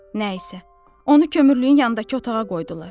Nə isə, onu kömürlüyün yanındakı otağa qoydular.